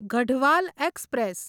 Garhwal express